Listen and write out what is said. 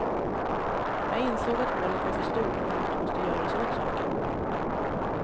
Jag insåg att hålet var för stort och något måste göras åt saken.